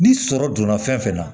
Ni sɔrɔ donna fɛn fɛn na